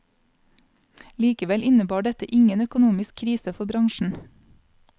Likevel innebar dette ingen økonomisk krise for bransjen.